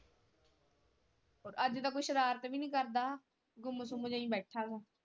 ਅੱਜ ਤਾਂ ਕੋਈ ਸ਼ਰਾਰਤ ਵੀ ਨਹੀਂ ਕਰਦਾ ਗੁੱਮ ਸੁੱਮ ਜੇਹਾ ਹੀ ਬੈਠਾ ਵਾ।